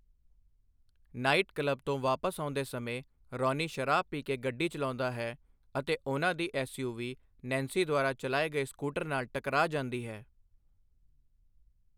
Night club ਤੋਂ ਵਾਪਸ ਆਉਂਦੇ ਸਮੇਂ, ਰੌਨੀ ਸ਼ਰਾਬ ਪੀ ਕੇ ਗੱਡੀ ਚਲਾਉਂਦਾ ਹੈ ਅਤੇ ਉਹਨਾਂ ਦੀ ਐਸਯੂਵੀ ਨੈਂਸੀ ਦੁਆਰਾ ਚਲਾਏ ਗਏ ਸਕੂਟਰ ਨਾਲ ਟਕਰਾ ਜਾਂਦੀ ਹੈ।